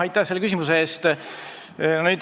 Aitäh selle küsimuse eest!